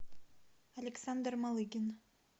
александр малыгин